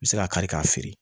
I bɛ se k'a kari ka feere